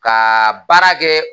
Ka baara kɛ